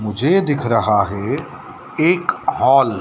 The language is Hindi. मुझे दिख रहा है एक हॉल ।